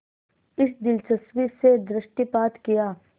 इस दिलचस्पी से दृष्टिपात किया